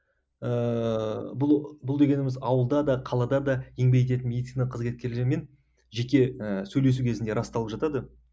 ыыы бұл бұл дегеніміз ауылда да қалада да еңбек ететін медицина қызметкерлермен жеке ііі сөйлесу кезінде расталып жатады